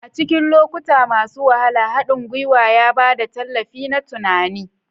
A cikin lokuta masu wahala, haɗin gwiwa ya ba da tallafi na tunani.